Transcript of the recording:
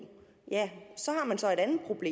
så at